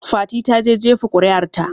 Fati ta na jefa kuri'ar ta